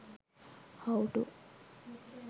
how to